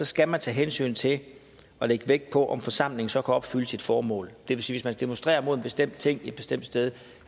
skal man tage hensyn til og lægge vægt på om forsamlingen så kan opfylde sit formål det vil sige man demonstrerer mod en bestemt ting et bestemt sted